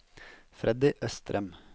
Freddy Østrem